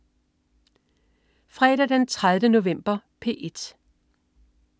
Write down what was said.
Fredag den 30. november - P1: